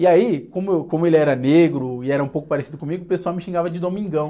E aí, como eu, como ele era negro e era um pouco parecido comigo, o pessoal me xingava de Domingão.